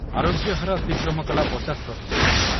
ଆରୋଗ୍ୟ ହାର ଅତିକ୍ରମ କଲା ପଚାଶ ପ୍ରତିଶତ ।